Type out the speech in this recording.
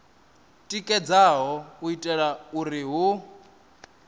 tikedzaho u itela uri hu